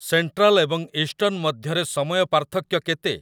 Central ଏବଂ eastern ମଧ୍ୟରେ ସମୟ ପାର୍ଥକ୍ୟ କେତେ?